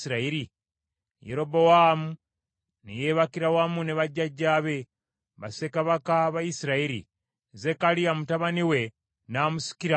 Yerobowaamu ne yeebakira wamu ne bajjajjaabe, bassekabaka ba Isirayiri, Zekkaliya mutabani we n’amusikira okuba kabaka.